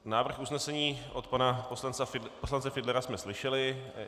Návrh usnesení od pana poslance Fiedlera jsme slyšeli.